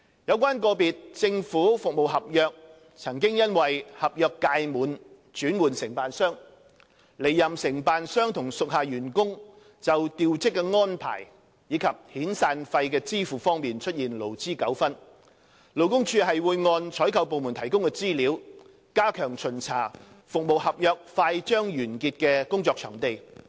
有關個別政府服務合約曾因合約屆滿而轉換承辦商，離任承辦商與屬下員工就調職安排及支付遣散費方面出現勞資糾紛，勞工處會按採購部門提供的資料，加強巡查服務合約快將完結的工作場地。